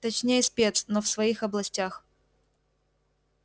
точнее спец но в своих областях